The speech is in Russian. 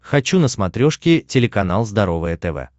хочу на смотрешке телеканал здоровое тв